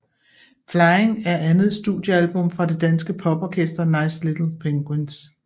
Flying er andet studiealbum fra det danske poporkester Nice Little Penguins